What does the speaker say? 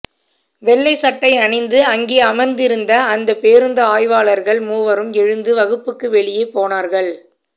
வெள்ளை சட்டை அணிந்து அங்கே அமர்ந்திருந்த அந்த பேருந்து ஆய்வாளர்கள் மூவரும் எழுந்து வகுப்புக்கு வெளியே போனார்கள்